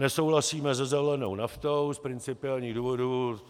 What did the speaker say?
Nesouhlasíme se zelenou naftou z principiálních důvodů.